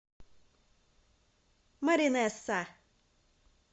маринесса